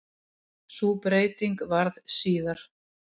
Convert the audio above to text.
Sú breyting varð síðar.